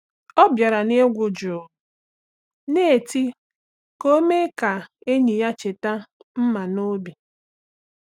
Ọ bịara na egwu jụụ na tii ka o mee ka enyi ya cheta mma n’obi.